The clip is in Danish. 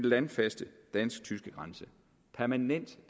landfaste dansk tyske grænse permanent